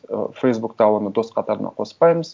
ы фейсбукта оны дос қатарына қоспаймыз